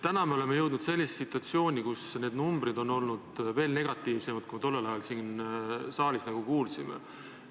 Täna oleme jõudnud sellisesse situatsiooni, kus need numbrid on veel negatiivsemad, kui me tollel ajal siin saalis kuulsime.